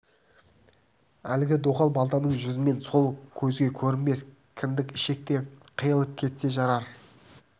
әлгі доғал балтаның жүзімен сол көзге көрінбес кіндік-ішек те қиылып кетпесе жарар